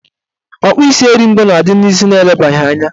Ọkpụisieringo na-adị n'isi elebaghị anya